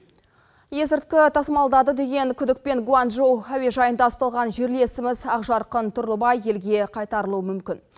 есірткі тасымалдады деген күдікпен гуанчжоу әуежайында ұсталған жерлесіміз ақжарқын тұрлыбай елге қайтарылуы мүмкін